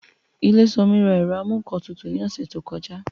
Ilésanmí ra ẹ̀rọ amúǹkantutù ní ọ̀sẹ̀ tó kọjá